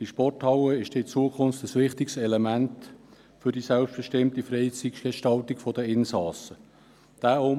Diese Sporthalle wird in Zukunft ein wichtiges Element für die selbstbestimmte Freizeitgestaltung der Insassen sein.